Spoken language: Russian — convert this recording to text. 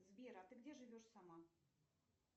сбер а ты где живешь сама